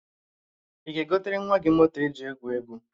Ị ga-egotere nwa gị moto eji egwu egwu?